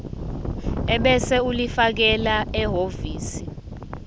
ebese ulifakela ehhovisi